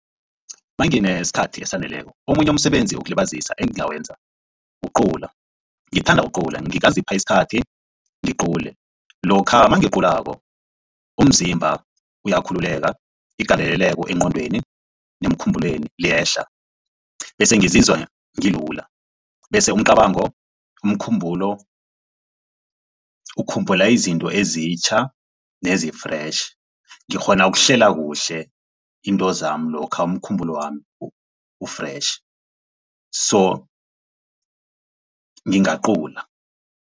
Nanginesikhathi esaneleko omunye umsebenzi wokulibazisa engingayenza kucula ngithanda ukucula ngingazipha isikhathi ngiqule. Lokha nangiculako umzimba uyakhululeka igandeleleko eengqondweni nemkhumbulweni liyehla bese ngizizwa ngilula, bese umcabango umkhumbulo ukhumbula izinto ezitjha nezi-fresh ngikghona ukuhlela kuhle into zami lokha umkhumbulo wami u-fresh so ngingacula.